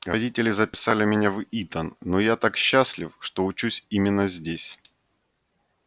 родители записали меня в итон но я так счастлив что учусь именно здесь